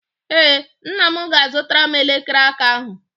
Ee, nna m ga-azụtara m elekere aka ahụ.